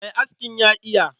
Mai askin ya iya.